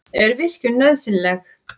Er virkjun nauðsynleg?